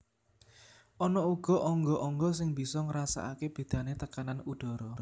Ana uga angga angga sing bisa ngrasakaké bédané tekanan udhara